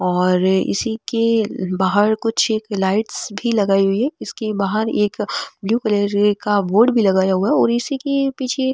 और इसी के बाहर कुछ एक लाइटस भी लगाई हुई है इसके बहार एक ब्लू कलर की बोर्ड भी लगाया हुआ है और इसी के पीछे --